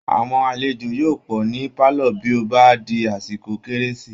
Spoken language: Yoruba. Aàwọn alejò yóò pọ̀ ní pálọ̀ bí ó bá di àsìkò kérési